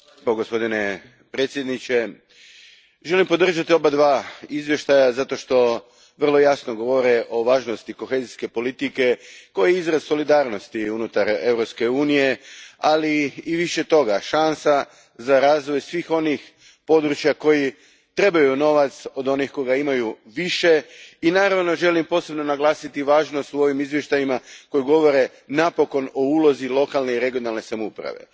Gospodine predsjedniče, želim podržati oba izvješća zato što vrlo jasno govore o važnosti kohezijske politike koja je izraz solidarnosti unutar Europske unije, ali i više toga šansa za razvoj svih onih područja koja trebaju novac od onih koja ga imaju više, i naravno želim posebno naglasiti važnost u ovim izvještajima koji govore napokon o ulozi lokalne i regionalne samouprave.